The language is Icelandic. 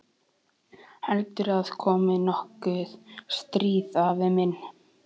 Heldurðu að komi nokkuð stríð, afi minn?